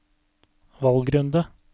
valgrunde